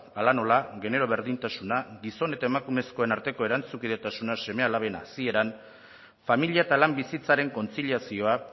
hala nola genero berdintasuna gizon eta emakumezkoen arteko erantzunkidetasuna seme alaben hazieran familia eta lan bizitzaren kontziliazioa